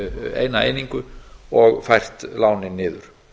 eina einingu og fært lánið niður